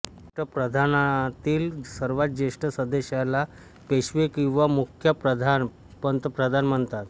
अष्ट प्रधानातील सर्वात ज्येष्ठ सदस्याला पेशवा किंवा मुख्या प्रधान पंतप्रधान म्हणतात